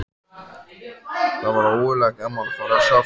Það var ógurlega gaman að fara og sjá þetta.